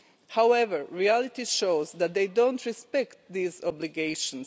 However, reality shows that they don't respect these obligations.